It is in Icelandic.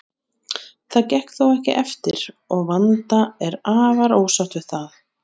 Það gekk þó ekki eftir og Vanda er afar ósátt við það.